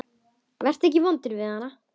Vertu ekki vondur við hana.